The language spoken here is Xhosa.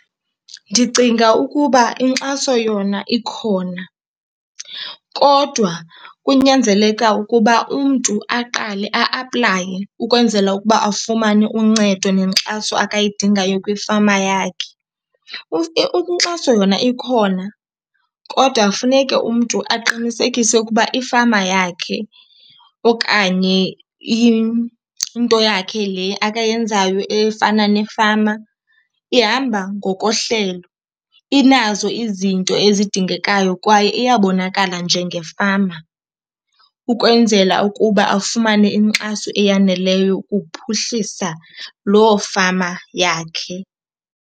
Ndicinga ukuba inkxaso yona ikhona kodwa kunyanzeleka ukuba umntu aqale a-aplaye ukwenzela ukuba afumane uncedo nenkxaso akayidingayo kwifama yakhe. Inkxaso yona ikhona kodwa funeke umntu aqinisekise ukuba ifama yakhe okanye into yakhe le akayenzayo efana nefama ihamba ngokohlelo, inazo izinto ezidingekayo kwaye iyabonakala njengefama ukwenzela ukuba afumane inkxaso eyaneleyo ukuphuhlisa loo fama yakhe.